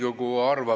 Hea juhataja!